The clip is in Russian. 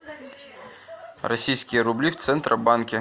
российские рубли в центробанке